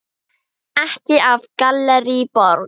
Ekki af Gallerí Borg.